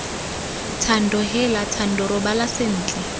thando heela thando robala sentle